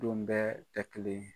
Don bɛɛ tɛ kelen ye.